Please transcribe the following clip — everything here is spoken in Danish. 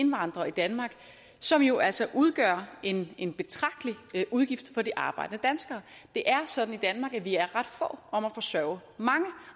indvandrere i danmark som jo altså udgør en en betragtelig udgift for de arbejdende danskere det er sådan i danmark at vi er ret få om at forsørge mange